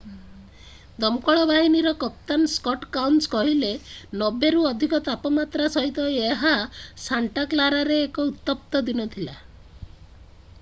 ଦମକଳ ବାହିନୀର କପ୍ତାନ ସ୍କଟ୍ କାଉନ୍ସ କହିଲେ 90 ରୁ ଅଧିକ ତାପମାତ୍ରା ସହିତ ଏହା ସାଣ୍ଟାକ୍ଲାରାରେ ଏକ ଉତ୍ତପ୍ତ ଦିନ ଥିଲା